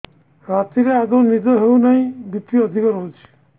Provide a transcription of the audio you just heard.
ରାତିରେ ଆଦୌ ନିଦ ହେଉ ନାହିଁ ବି.ପି ଅଧିକ ରହୁଛି